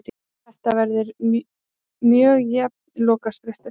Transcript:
Þetta verður mjög jafn lokasprettur.